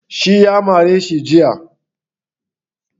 Shi ya mare shi jiya.